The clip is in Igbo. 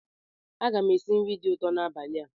Aga m esi nri dị ụtọ n'abalị a.